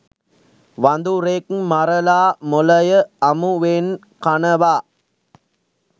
වඳුරෙක් මරලා මොළය අමුවෙන් කනවා.